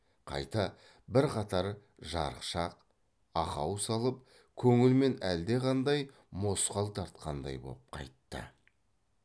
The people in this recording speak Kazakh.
қайта бірқатар жарықшақ ақау салып көңілмен әлдеқандай мосқал тартқандай боп қайтты